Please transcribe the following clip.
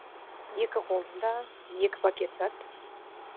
екі қолында екі пакет зат